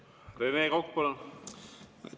Rene Kokk, palun!